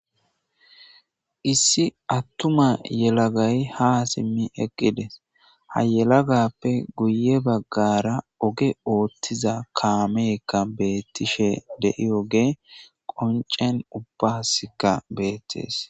Issi attuma yelagay ha simmi eqqides ha yelagappe guye baggara oge oothtiza kaameeka beettishe de'ioge qoncen ubbaskka beettees.